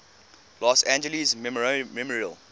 los angeles memorial